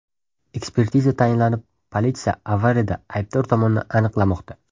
Ekspertiza tayinlanib, politsiya avariyada aybdor tomonni aniqlamoqda.